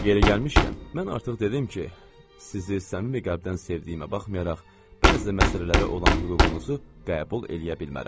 Yeri gəlmişkən, mən artıq dedim ki, sizi səmimi qəlbdən sevdiyimə baxmayaraq, bəzi məsələlərə olan hüququnuzu qəbul eləyə bilmərəm.